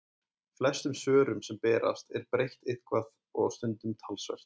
Flestum svörum sem berast er breytt eitthvað og stundum talsvert.